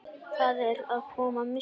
Það er að koma myrkur.